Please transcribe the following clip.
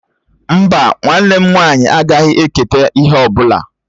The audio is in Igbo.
Mbá, nwanne m nwaanyị agaghị eketa ihe ọ bụla.